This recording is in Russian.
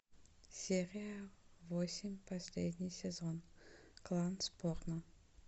серия восемь последний сезон клан сопрано